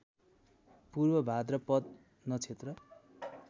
पूर्व भाद्रपद नक्षत्र